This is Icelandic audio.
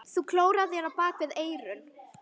Þú klórar þér bak við eyrun.